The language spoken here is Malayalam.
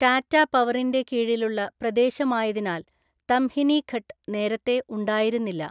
ടാറ്റ പവറിന്റെ കീഴിലുള്ള പ്രദേശമായതിനാൽ തംഹിനി ഘട്ട് നേരത്തെ ഉണ്ടായിരുന്നില്ല.